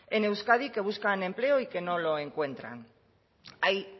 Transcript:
en euskadi que buscan empleo y que no lo encuentran hay